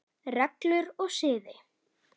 Reglur og siði